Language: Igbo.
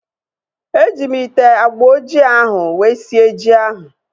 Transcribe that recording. E ji m ite agba ojii ahu wee sie ji ahu